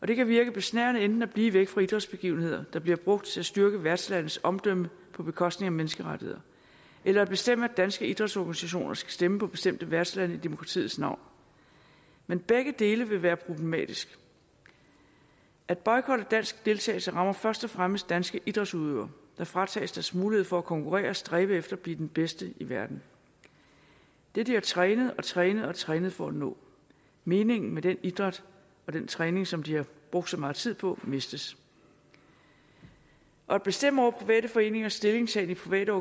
det kan virke besnærende enten at blive væk fra idrætsbegivenheder der bliver brugt til at styrke værtslandets omdømme på bekostning af menneskerettigheder eller at bestemme at danske idrætsorganisationer skal stemme på bestemte værtslande i demokratiets navn men begge dele vil være problematiske at boykotte dansk deltagelse rammer først og fremmest danske idrætsudøvere der fratages deres mulighed for at konkurrere og stræbe efter at blive den bedste i verden det de har trænet og trænet og trænet for at nå meningen med den idræt og den træning som de har brugt så meget tid på mistes at bestemme over private foreningers stillingtagen i private